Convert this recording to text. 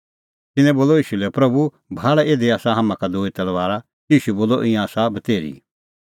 तिन्नैं बोलअ ईशू लै प्रभू भाल़ इधी आसा हाम्हां का दूई तलबारा ईशू बोलअ ईंयां आसा बतेर्ही